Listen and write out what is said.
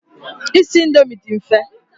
Isi indomi dị mfe.